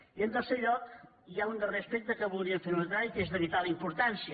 i en tercer lloc hi ha un darrer aspecte que voldríem fer notar i que és de vital importància